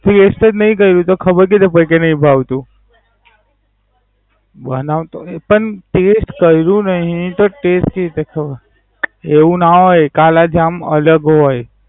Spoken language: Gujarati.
Test જ નય કરું તો ખબર કેવી રીતે પડી? કે નય ભાવતું. બનાવતો નય પણ, Test કરું નહિ તો ટેસ્ટ કેવી રીતે ખબ? એવું ના હોય કાલા જામ અલગ હોય.